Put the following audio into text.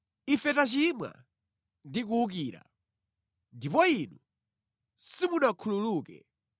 “Ife tachimwa ndi kuwukira ndipo inu simunakhululuke.